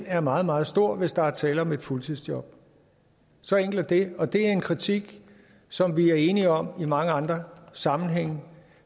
er meget meget stor hvis der er tale om et fuldtidsjob så enkelt er det og det er en kritik som vi er enige om i mange andre sammenhænge